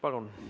Palun!